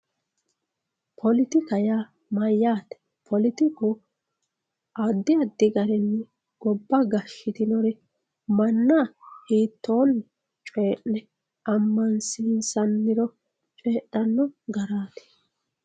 poletika yaa mayyaate poletiku addi addi garinni gobba gashshitinori manna hiittoonni coyyi'ne ammansiinsanniro leellanno garaati